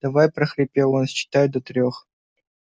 давай прохрипел он считаю до трёх